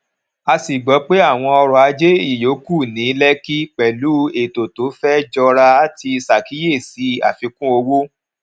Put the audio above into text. a sì gbọ pé àwọn ọrọ ajé ìyókù ní lekki pẹlú ètò tó fẹ jọra ti ṣàkíyèsí àfikún owó